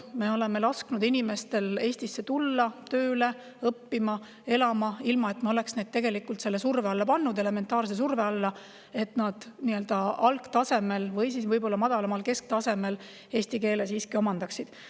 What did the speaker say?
Me oleme lasknud tulla inimestel Eestisse tööle, õppima, elama, ilma et me oleks nad tegelikult selle elementaarse surve alla pannud, et nad algtasemel või siis madalamal kesktasemel eesti keele omandaksid.